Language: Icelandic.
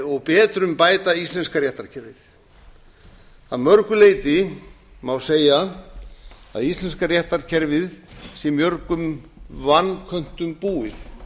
og betrumbæta íslenska réttarkerfið að mörgu leyti má segja að íslenska réttarkerfið sé mörgum vanköntum búið